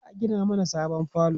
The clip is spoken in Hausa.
za'a Gina mana sabon falo